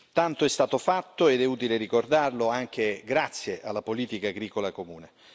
Tanto è stato fatto, ed è utile ricordarlo, anche grazie alla politica agricola comune.